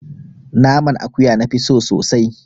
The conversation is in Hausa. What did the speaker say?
Naman akuya na fi so sosai